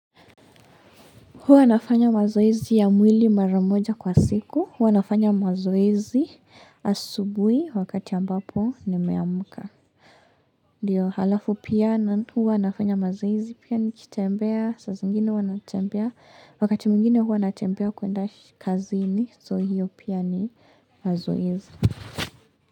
Huwa nafanya mazoezii ya mwili maramoja kwa siku. Huwa nafanya mazoezi asubuhi wakati ambapo nimeamka. Ndiyo halafu pia na huwa nafanya mazoezi pia nikitembea. Saa zingine huwa natembea wakati mwingine huwa natembea kuenda kazini. So hiyo pia ni mazoezi.